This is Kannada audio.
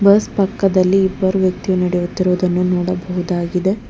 ಬಸ್ ಪಕ್ಕದಲ್ಲಿ ಇಬ್ಬರು ವ್ಯಕ್ತಿಯು ನಡೆಯುತ್ತಿರುವುದನ್ನು ನೋಡಬಹುದಾಗಿದೆ.